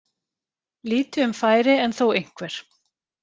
Lítið um færi en þó einhver.